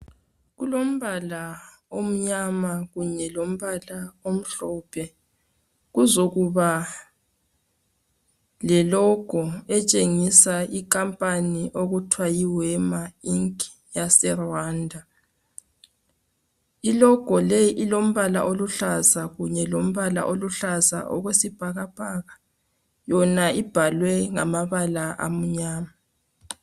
Kulombala omnyama kunye lombala omhlophe, kuzokuba lelogo etshengisa inkampani okuthiwa yiWema inki yaseRuwanda. Ilohgo leyi ilombala oluhlaza kunye lombala oluhlaza okwesibhakabhaka. Yona ibhalwe ngamabala amnyama.